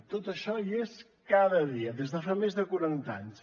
tot això hi és cada dia des de fa més de quaranta anys